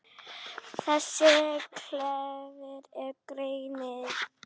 Þessi klefi er grenið.